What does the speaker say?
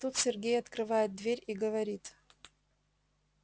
тут сергей открывает дверь и говорит